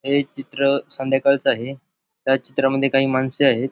हे चित्र संध्याकाळच आहे त्या चित्रामध्ये काही माणसे आहेत.